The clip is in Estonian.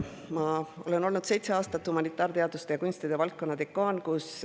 Ma olen olnud seitse aastat humanitaarteaduste ja kunstide valdkonna dekaan.